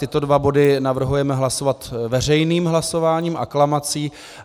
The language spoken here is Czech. Tyto dva body navrhujeme hlasovat veřejným hlasováním, aklamací.